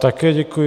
Také děkuji.